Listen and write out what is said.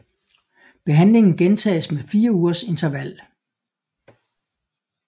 Behandlingen gentages med 4 ugers interval